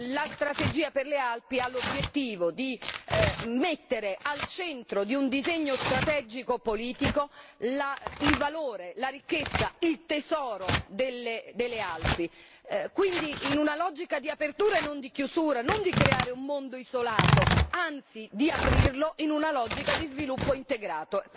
La strategia per le Alpi ha l'obiettivo di mettere al centro di un disegno strategico e politico il valore, la ricchezza, il tesoro delle Alpi, in una logica di apertura e non di chiusura, non di creare un mondo isolato anzi di aprirlo in una logica di sviluppo integrato.